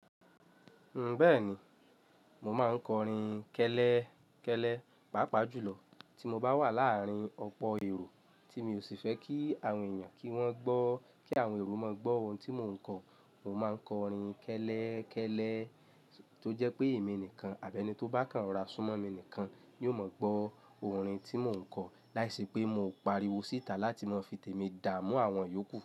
Bẹ́ẹ̀ni, mo máa ń kọrin kẹ́lẹ́kẹ́lẹ́, pàápàá jùlọ tí mo bá wà láàárín ọ̀pọ̀ èrò tí mi ò sì fẹ́ kí àwọn èèyàn kí wọ́n gbọ́, kí àwọn ero máa gbọ́ ohun tí mò ń kọ, mo máa ń kọrin kẹ́lẹ́kẹ́lẹ́ tó jẹ́ pé èmi nìkan àbí ẹni tó bá kàn rora súnmọ́ mi nìkan yóò mọ̀ gbọ́ orin tí mò ń kọ láìṣe pé mo n pariwo síta láti máa fi tèmi dá mú àwọn yòókù.